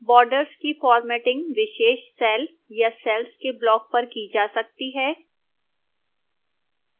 borders की formatting विशेष cell या cells के block पर की जा सकती है